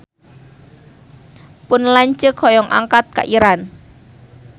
Pun lanceuk hoyong angkat ka Iran